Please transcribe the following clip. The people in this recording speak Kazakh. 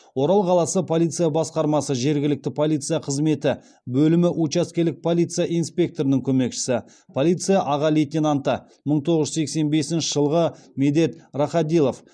орал қаласы полиция басқармасы жергілікті полиция қызметі бөлімі учаскелік полиция инспекторының көмекшісі полиция аға лейтенанты мың тоғыз жүз сексен бесінші жылғы медет рахадилов